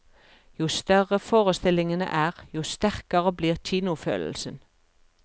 Jo større forestillingene er, jo sterkere blir kinofølelsen.